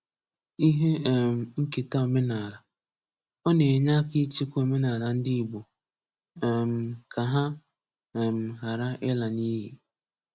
Ihe um Nketa Omenaala: Ọ na-enye aka ịchekwa omenaala ndị Igbo um ka ha um ghara ila n’iyi.